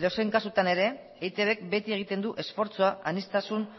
edozein kasutan ere eitbk beti egiten du esfortzua aniztasun